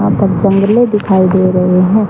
यहां पर जंगले दिखाई दे रहे हैं।